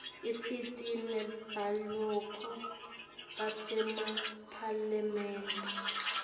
isita nebaholi basemaphalamende